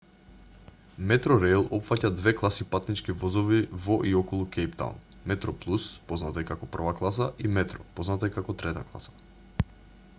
метрореил опфаќа две класи патнички возови во и околу кејптаун: метроплус позната и како прва класа и метро позната и како трета класа